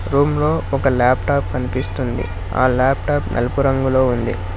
Room లో ఒక laptop కనిపిస్తుంది ఆ లాప్టాప్ నలుపు రంగులో ఉంది.